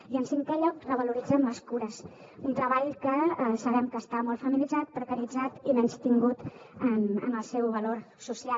i en cinquè lloc revaloritzem les cures un treball que sabem que està molt feminitzat precaritzat i menystingut en el seu valor social